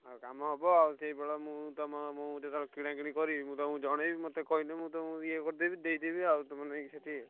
ଆଉ କାମ ହବ ଆଉ ସେଇପଟ ମୁଁ ତମ ମୁଁ ଯେତବେଳେ କିଣାକିଣି କରିବି ମୁଁ ତମୁକୁ ଜଣେଇବି ମତେ କହିଲେ ମୁଁ ତମୁକୁ ଇଏ କରିଦେବି ଦେଇଦେବି ଆଉ ତୁମର ନେଇ ସେଠି ଆଉ।